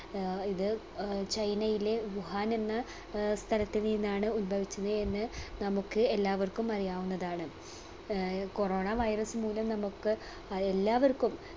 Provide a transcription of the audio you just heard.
ഏർ ഇത് ഏർ ചൈനയിലെ വുഹാൻ എന്ന അഹ് സ്ഥലത്ത് നിന്നാണ് ഉൽഭവിച്ചത് എന്ന് നമുക്ക് എല്ലാവർക്കും അറിയാവുന്നതാണ് ഏർ corona virus മൂലം നമുക്ക് അഹ് എല്ലാവർക്കും